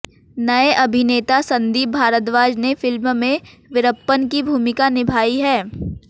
नए अभिनेता संदीप भारद्वाज ने फिल्म में वीरप्पन की भूमिका निभाई है